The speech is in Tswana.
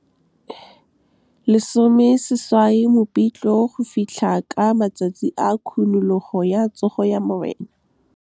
18 Mopitlwe go fitlha ka matsatsi a khunologo ya Tsogo ya Morena. 18 Mopitlwe go fitlha ka matsatsi a khunologo ya Tsogo ya Morena.